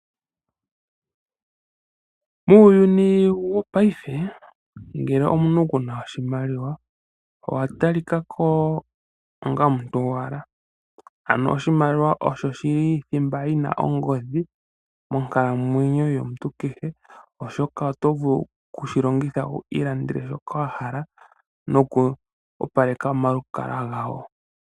Muuyuni wongashingeyi ngele omuntu kuna oshimaliwa owatalika ko onga omuntu gowala. Ano oshimaliwa osho shili thimba yina ongodhi monkalamwenyo yomuntu kehe oshoka otovulu okushilongitha wu ilandele shoka wahala noku opaleka omalukalwa gawo.